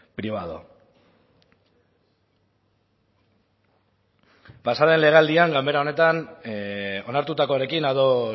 privado pasa den legealdian gainbehera honetan onartutakoarekin ados